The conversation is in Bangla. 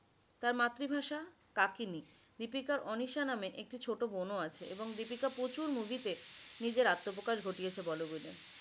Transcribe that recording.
তার মাতৃভাষা কাকিনি দীপিকার অনিশা নামে একটি ছোট বোনও আছে এবং দীপিকা প্রচুর movie তে নিজের আত্মপ্রকাশ ঘটিয়েছে। bollywood এ